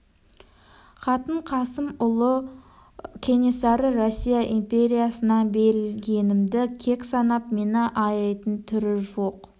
хатын қасым ұлы кенесары россия империясына берілгенімді кек санап мені аяйтын түрі жоқ